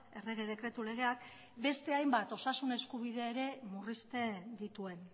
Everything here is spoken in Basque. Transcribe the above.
errege dekretu legeak beste hainbat osasun eskubide ere murrizten dituen